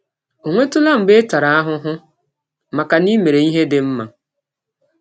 Ọ̀ nwetụla mgbe ị tara ahụhụ maka na i mere ihe dị mma?